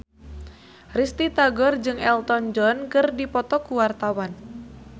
Risty Tagor jeung Elton John keur dipoto ku wartawan